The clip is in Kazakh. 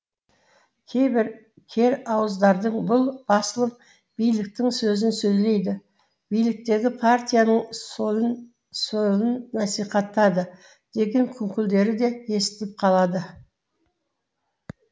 кейбір кер ауыздардың бұл басылым биліктің сөзін сөйлейді биліктегі партияның солын насихаттады деген күңкілдері де естіліп қалады